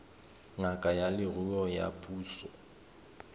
ngaka ya leruo ya puso